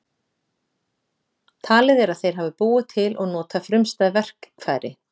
Talið er að þeir hafi búið til og notað frumstæð verkfæri.